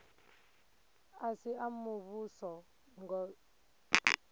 a si a muvhuso ngos